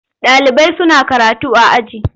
Ɗalibai suna karatu a aji.